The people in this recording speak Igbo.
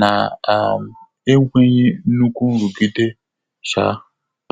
nà um énwéghị́ nnúkú nrụ́gídé. um